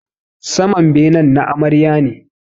Saman benen na Amarya ne